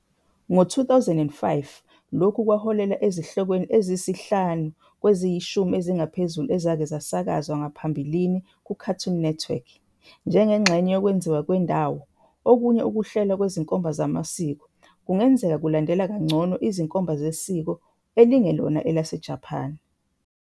Ngo-2005, lokhu kwaholela ezihlokweni eziyisihlanu kwezingu-10 eziphezulu ezake zasakazwa ngaphambilini kuCartoon Network.. Njengengxenye yokwenziwa kwendawo, okunye ukuhlelwa kwezinkomba zamasiko kungenzeka ukulandela kangcono izinkomba zesiko elingelona elaseJapane.